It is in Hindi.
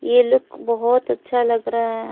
ये लुक बहोत अच्छा लग रहा--